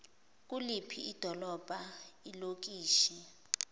kuliphi idolobha ilokishi